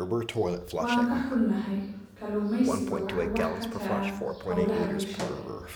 Waan ka xunahay, kalluumaysigu waxa uu wax ka taraa hawlaha bulshada.